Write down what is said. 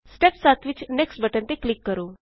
step 7 ਵਿਚ next button ਤੇ click ਕਰੋ